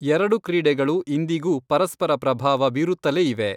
ಎರಡು ಕ್ರೀಡೆಗಳು ಇಂದಿಗೂ ಪರಸ್ಪರ ಪ್ರಭಾವ ಬೀರುತ್ತಲೇ ಇವೆ.